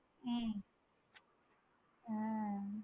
உம் ஆஹ்